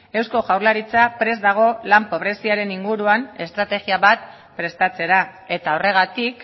eusko jaurlaritza prest dago lan pobreziaren inguruan estrategia bat prestatzera eta horregatik